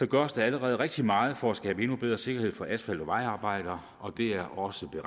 gøres der allerede rigtig meget for at skabe endnu bedre sikkerhed for asfalt og vejarbejdere og det er også